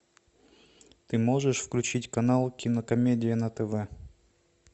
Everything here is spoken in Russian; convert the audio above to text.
ты можешь включить канал кинокомедия на тв